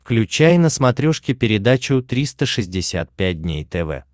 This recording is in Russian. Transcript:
включай на смотрешке передачу триста шестьдесят пять дней тв